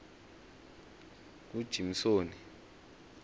kujimsoni